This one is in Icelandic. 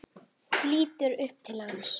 Lítur upp til hans.